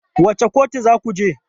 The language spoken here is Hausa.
Wace kotu za ku je?